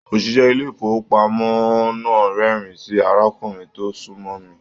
Oṣiṣẹ ilé ifowopamọ náà rẹ́rìn sí arákùnrin tó sunmọ mí.